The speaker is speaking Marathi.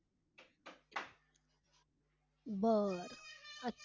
बर